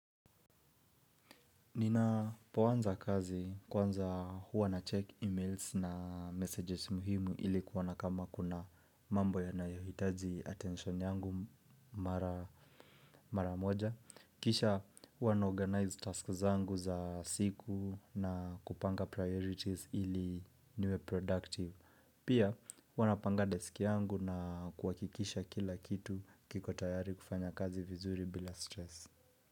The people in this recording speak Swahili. Ninapoanza kazi kwanza huwa nacheck emails na messages muhimu ili kuona kama kuna mambo yanayohitaji attention yangu mara moja, kisha huwa naorganize tasks zangu za siku na kupanga priorities ili niwe productive. Pia huwa napanga desk yangu na kuhakikisha kila kitu kiko tayari kufanya kazi vizuri bila stress.